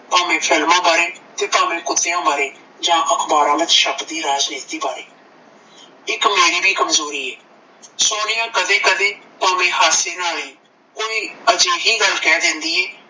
ਭਾਂਵੇ ਫਿਲਮਾਂ ਬਾਰੇ ਤੇ ਭਾਂਵੇ ਕੁੱਤਿਆਂ ਬਾਰੇ ਜਾ ਅਖਬਾਰਾਂ ਵਿੱਚ ਛਪਦੀਆਂ ਰਾਜਨੀਤੀ ਬਾਰੇ ਇੱਕ ਮੇਰੀ ਵੀ ਕਮਜੋਰੀ ਐ ਸੋਨੀਆ ਕਦੇ ਕਦੇ ਭਾਂਵੇ ਹਾਸੇ ਨਾਲ ਹੀ ਊ ਈ ਅਜਿਹੀ ਗੱਲ ਕਹਿ ਦਿੰਦੀ ਏ